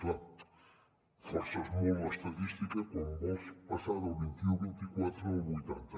clar forces molt l’estadística quan vols passar del vint i u o vint i quatre al vuitanta